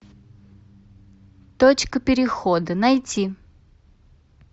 точка перехода найти